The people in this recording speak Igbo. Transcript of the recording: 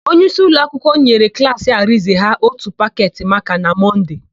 Onyeisi ụlọakwụkwọ nyere klaasị Arịnze ha ótù paketị makaa na Mọnde.